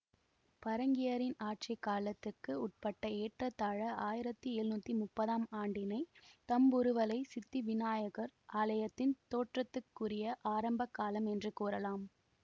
பறங்கியரின் ஆட்சி காலத்துக்கு உட்பட்ட ஏற்றத்தாழ ஆயிரத்தி எழுநூற்றி முப்பதாம் ஆண்டினைத் தம்புருவளைச் சித்திவிநாயகர் ஆலயத்தின் தோற்றத்துக்குரிய ஆரம்பகாலம் என்று கூறலாம்